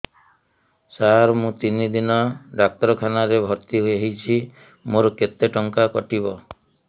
ସାର ମୁ ତିନି ଦିନ ଡାକ୍ତରଖାନା ରେ ଭର୍ତି ହେଇଛି ମୋର କେତେ ଟଙ୍କା କଟିବ